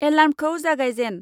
एलार्म्खौ जागायजेन।